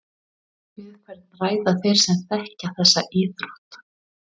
Við hvern ræða þeir sem þekkir þessa íþrótt?